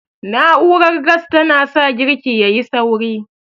Na'urar gas ta na sa girki yayi sauri